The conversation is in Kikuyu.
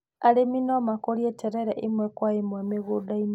Arĩmi no makũrie terere ĩmwe kwa ĩmwe mĩgũnda-inĩ.